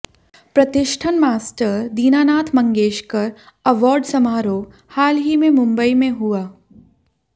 प्रतिष्ठिन master Dinanath Mangeshkar award समारोह हाल ही में मुंबई में हुआ